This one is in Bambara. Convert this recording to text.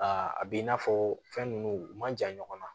a b'i n'a fɔ fɛn nunnu u man jan ɲɔgɔn na